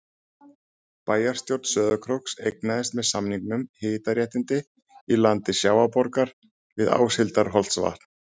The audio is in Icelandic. Bæjarstjórn Sauðárkróks eignaðist með samningum hitaréttindi í landi Sjávarborgar við Áshildarholtsvatn.